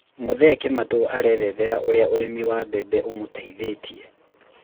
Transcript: mũthee Kimatu arerethera ũrĩa ũrĩmi wa bembe ũmuteithĩtie